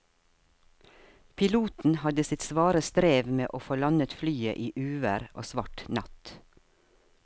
Piloten hadde sitt svare strev med å få landet flyet i uvær og svart natt.